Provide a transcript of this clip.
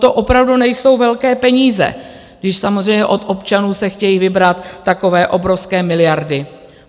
To opravdu nejsou velké peníze, když samozřejmě od občanů se chtějí vybrat takové obrovské miliardy.